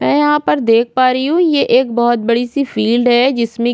मै यहाँ पर देख पा रही हूँ यह एक बहुत बड़ी सी फील्ड है जिसमे--